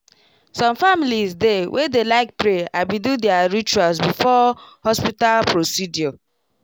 some families dey way dey like pray abi do their rituals before hospital procedure